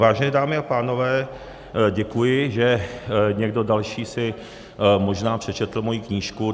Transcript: Vážené dámy a pánové, děkuji, že někdo další si možná přečetl moji knížku.